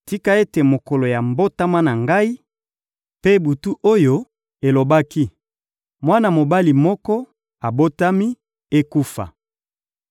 «Tika ete mokolo ya mbotama na ngai, mpe butu oyo elobaki: ‹Mwana mobali moko abotami,› ekufa!